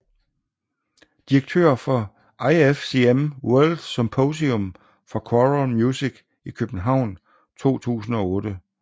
Direktør for IFCM World Symposium for Choral Music i København 2008